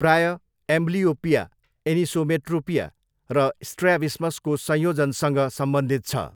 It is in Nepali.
प्रायः एम्बलियोपिया, एनिसोमेट्रोपिया र स्ट्र्याबिस्मसको संयोजनसँग सम्बन्धित छ।